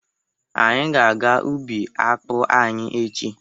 Anyị ga-aga ubi akpụ anyị echi.